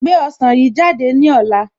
Gbé ọsàn yìí jáde ní ọ̀la